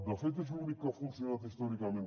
de fet és l’únic que ha funcionat històricament